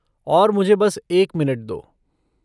और मुझे बस एक मिनट दो।